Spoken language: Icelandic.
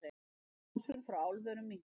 Losun frá álverum minnkar